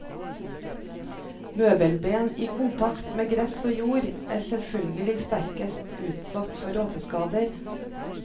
Møbelben i kontakt med gress og jord. er selvfølgelig sterkest utsatt for råteskader.